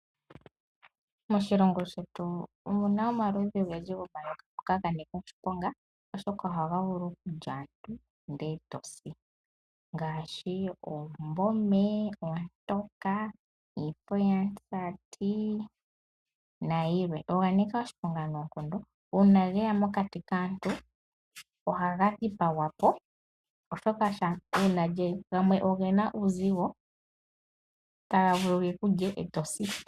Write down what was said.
Moshilongo shetu omuna omaludhi gomayoka ogendji ngoka ga nika oshiponga nohaga vulu okulya aantu ndele etosi ngaashi oombome, oontoka, iifo yamusati nayilwe. Oga nika oshiponga noonkondo uuna geya mokati kaantu ohaga dhipagwa po. Gamwe ogena uuzigo.